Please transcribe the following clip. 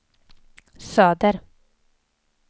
söder